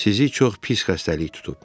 Sizi çox pis xəstəlik tutub.